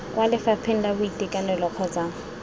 kwa lefapheng la boitekanelo kgotsa